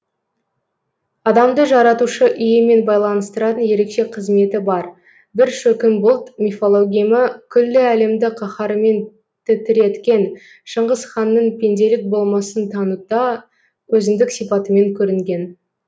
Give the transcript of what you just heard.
адамды жаратушы иемен байланыстыратын ерекше қызметі бар бір шөкім бұлт мифологемі күллі әлемді қаһарымен тітіреткен шыңғыс ханның пенделік болмысын танытуда өзіндік сипатымен көрінген